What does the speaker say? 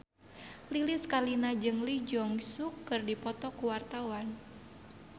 Lilis Karlina jeung Lee Jeong Suk keur dipoto ku wartawan